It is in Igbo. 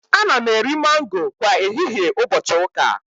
Ana m eri mango kwa ehihie ụbọchị ụka